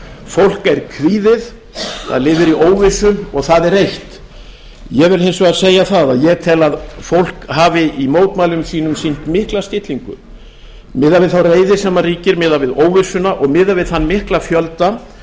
fólk er kvíðið það lifir í óvissu og það er reitt ég vil hins vegar segja það að ég tel að fólk hafi í mótmælum sínum sýnt mikla stillingu miðað við þá reiði sem ríkir og miðað við óvissuna og miðað við þann mikla fjölda